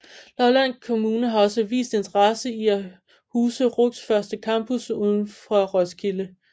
Lolland Kommune har også vist interesse i at huse RUCs første campus udenfor Roskilde